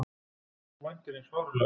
Þú væntir hins fáránlega.